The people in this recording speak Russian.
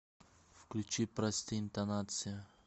включи прости интонация